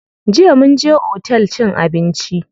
Jiya mun je otel cin abinci.